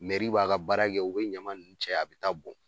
Meri b'a ka baara kɛ u be ɲama nunnu cɛ a be taa bɔn